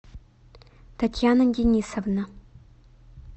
татьяна денисовна